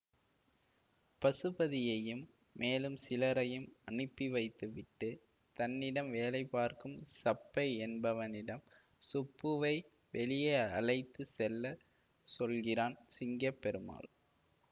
பசுபதியையும் மேலும் சிலரையும் அனுப்பி வைத்து விட்டு தன்னிடம் வேலை பார்க்கும் சப்பை என்பவனிடம் சுப்புவை வெளியே அழைத்து செல்ல சொல்கிறான் சிங்க பெருமாள்